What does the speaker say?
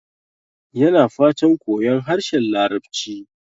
Yana fatan koyon harshen Larabci.